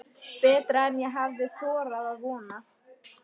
Betra en ég hafði þorað að vona